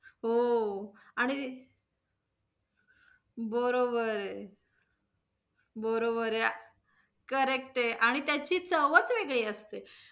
हो आणि, बरोबर, बरोबर आहे correct आहे आणि त्याची चवच वेगळी असते.